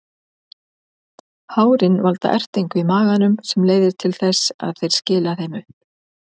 Hárin valda ertingu í maganum sem leiðir til þess að þeir skila þeim upp.